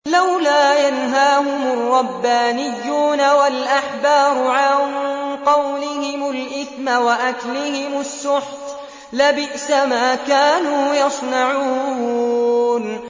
لَوْلَا يَنْهَاهُمُ الرَّبَّانِيُّونَ وَالْأَحْبَارُ عَن قَوْلِهِمُ الْإِثْمَ وَأَكْلِهِمُ السُّحْتَ ۚ لَبِئْسَ مَا كَانُوا يَصْنَعُونَ